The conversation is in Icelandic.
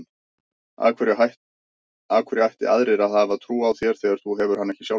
Af hverju ættu aðrir að hafa trú á þér þegar þú hefur hana ekki sjálfur?